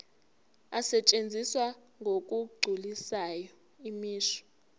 asetshenziswa ngokugculisayo imisho